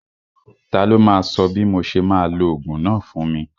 Ta ló máa sọ bí mo ṣe máa lo ogún náà fún mi?